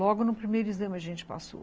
Logo no primeiro exame a gente passou.